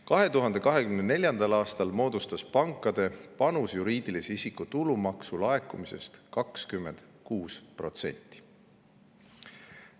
2024. aastal moodustas pankade panus juriidilise isiku tulumaksu laekumisest 26%.